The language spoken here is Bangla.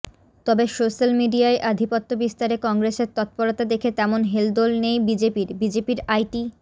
তবে সোশ্যাল মিডিয়ায় আধিপত্য বিস্তারে কংগ্রেসের তৎপরতা দেখে তেমন হেলদোল নেই বিজেপির বিজেপির আইটি